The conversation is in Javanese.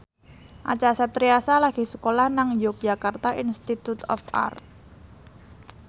Acha Septriasa lagi sekolah nang Yogyakarta Institute of Art